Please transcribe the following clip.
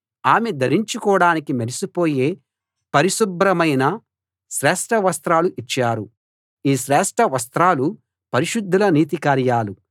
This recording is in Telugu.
ఆమె ధరించుకోడానికి మెరిసిపోయే పరిశుభ్రమైన శ్రేష్ఠవస్త్రాలు ఇచ్చారు ఈ శ్రేష్ఠవస్త్రాలు పరిశుద్ధుల నీతి కార్యాలు